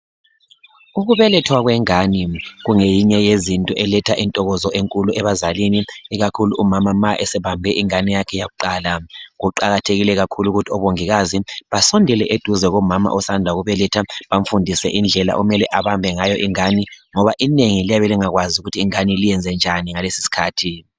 ukubelethwa kwengane kungeyinye yezinto eletha intokozo enkulu abazalini ikakhulu umama ma esebambe ingane yakhe kuqala kuqakathekile kakhulu ukuthi obongikazi basondele eduze kukamama osanda ukubeletha bamfundise ukuthi kumele abame njani ingane ngoba inengi liyabe lingakwazi ukuthi liyibambe njani ingane ngalesi isikhathi